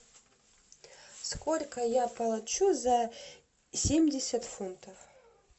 сколько я получу за семьдесят фунтов